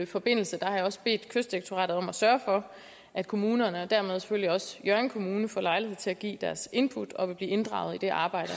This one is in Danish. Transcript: forbindelse har jeg også bedt kystdirektoratet om at sørge for at kommunerne og dermed selvfølgelig også hjørring kommune får lejlighed til at give deres input og vil blive inddraget i arbejdet